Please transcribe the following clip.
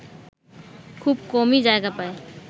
খুব কমই জায়গা পায়